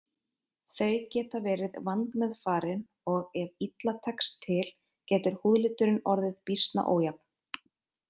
Þau geta verið vandmeðfarin og ef illa tekst til getur húðliturinn orðið býsna ójafn.